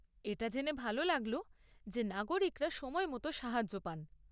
এটা জেনে ভাল লাগল যে নাগরিকরা সময় মতো সাহায্য পান।